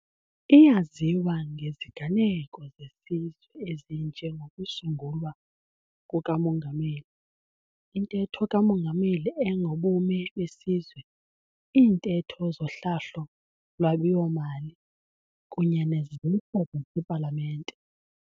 Iyaziwa ngeziganeko zesizwe ezinje ngokusungulwa kukaMongameli, iNtetho kaMongameli engoBume beSizwe, iiNtetho zoHlahlo-lwabiwo mali, kunye nezehlo zasePalamente.